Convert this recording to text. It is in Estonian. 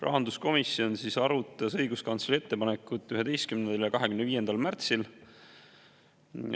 Rahanduskomisjon arutas õiguskantsleri ettepanekut 11. ja 25. märtsil.